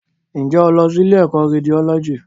Ǹjẹ́ o lọ sí ilé ìkọ́ Rédiólọ́jì?